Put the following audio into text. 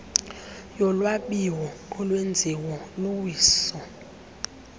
yolwabiwo olwenziwo luwiso